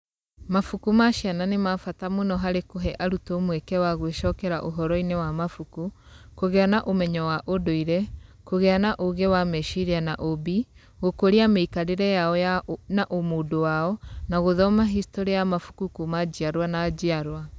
Mabuku ma ciana nĩ ma bata mũno harĩ kũhe arutwo mweke wa gũĩcokera ũhoro-inĩ wa mabuku, kũgĩa na ũmenyo wa ũndũire, kũgĩa na ũũgĩ wa meciria na ũũmbi, gũkũria mĩikarĩre yao na ũmũndũ wao, na gũthoma historĩ ya mabuku kuuma njiarwa na njiarwa.